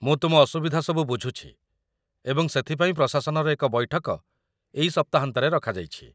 ମୁଁ ତୁମ ଅସୁବିଧା ସବୁ ବୁଝୁଛି ଏବଂ ସେଥିପାଇଁ ପ୍ରଶାସନର ଏକ ବୈଠକ ଏଇ ସପ୍ତାହାନ୍ତରେ ରଖାଯାଇଛି